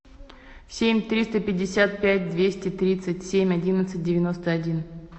семь триста пятьдесят пять двести тридцать семь одиннадцать девяносто один